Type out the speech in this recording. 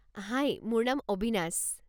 হাই, মোৰ নাম অবিনাশ।